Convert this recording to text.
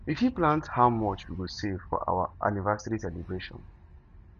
we fit plan how much we go save for our anniversary celebration